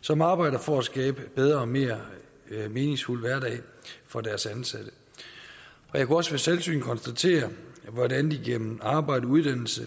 som arbejder for at skabe en bedre og mere meningsfuld hverdag for deres ansatte jeg kunne også ved selvsyn konstatere hvordan de gennem arbejde og uddannelse